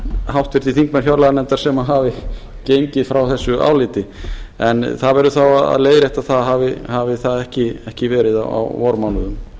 háttvirtir þingmenn fjárlaganefndar sem hafi gengið frá þessu áliti en það verður þá að leiðrétta hafi það ekki verið á vormánuðum